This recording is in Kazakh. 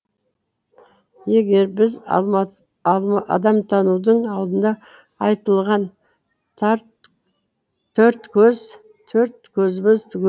егер біз адамтанудың алдында айтылған төрт көз төрт көзіміз түгел